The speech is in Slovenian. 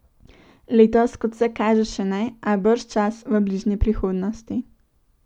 Letos, kot vse kaže, še ne, a bržčas v bližnji prihodnosti.